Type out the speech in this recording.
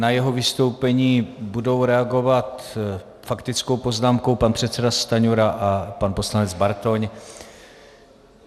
Na jeho vystoupení budou reagovat faktickou poznámkou pan předseda Stanjura a pan poslanec Bartoň.